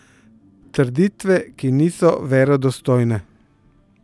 Trditve, ki niso verodostojne.